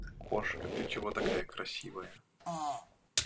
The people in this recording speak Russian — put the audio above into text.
кошка ты чего такая красивая